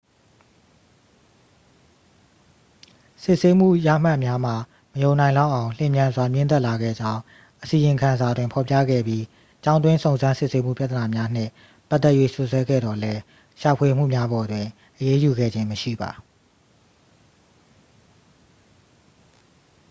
စစ်ဆေးမှုရမှတ်များမှာ မယုံနိုင်လောက်အောင် လျင်မြန်စွာ မြင့်တက်လာခဲ့ကြောင်း အစီရင်ခံစာတွင်ဖော်ပြခဲ့ပြီး ကျောင်းတွင်းစုံစမ်းစစ်ဆေးမှုပြဿနာများနှင့်ပတ်သက်၍ စွပ်စွဲခဲ့သော်လည်း ရှာဖွေမှုများပေါ်တွင် အရေးယူခဲ့ခြင်းမရှိပါ